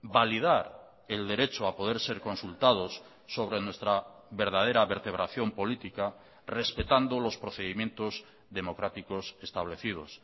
validar el derecho a poder ser consultados sobre nuestra verdadera vertebración política respetando los procedimientos democráticos establecidos